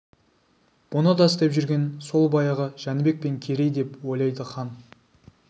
бұны да істеп жүрген сол баяғы жәнібек пен керей деп ойлайды хан